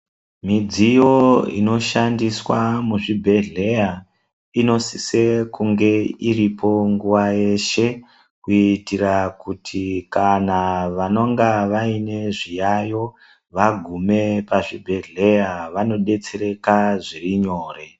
Midziyo inoshandiswa muzvibhehleya inosise kunge iripo nguwa yeshe kuitira kuti kana vanonga vaine zviyayo vagume pazvibhehleya vanodetsereka zviri nyore.